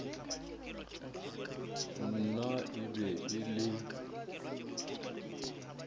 nna e be e le